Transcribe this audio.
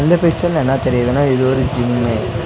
இந்த பிச்சர்ல என்னா தெரியுதுன்னா இது ஒரு ஜிம்மு .